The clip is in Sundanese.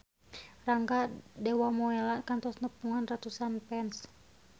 Rangga Dewamoela kantos nepungan ratusan fans